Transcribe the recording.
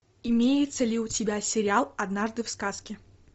имеется ли у тебя сериал однажды в сказке